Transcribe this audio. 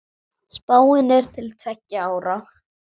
Spáin er til tveggja ára.